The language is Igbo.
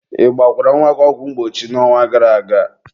ị gbakwara nwa gị ọgwụ mgbochi n'ọnwa gara aga?